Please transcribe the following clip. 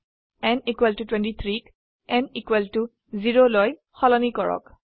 n 23 ক n 0লৈসলনি কৰক